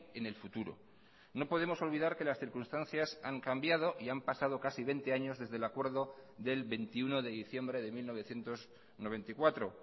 en el futuro no podemos olvidar que las circunstancias han cambiado y han pasado casi veinte años desde el acuerdo del veintiuno de diciembre de mil novecientos noventa y cuatro